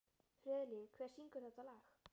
Friðlín, hver syngur þetta lag?